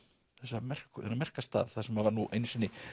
þennan merka þennan merka stað þar sem var nú einu sinni